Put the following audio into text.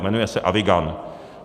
Jmenuje se Avigan.